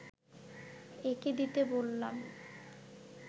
এঁকে দিতে বললাম